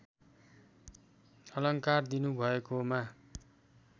अलङ्कार दिनुभएकोमा